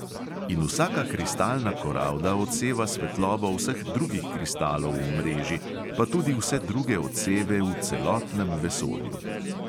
In vsaka kristalna koralda odseva svetlobo vseh drugih kristalov v mreži, pa tudi vse druge odseve v celotnem vesolju.